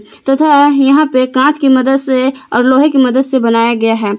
तथा यहां पे कांच की मदद से और लोहे की मदद से बनाया गया है।